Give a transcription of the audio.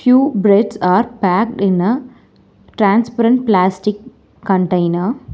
few breads are packed in a transparent plastic container.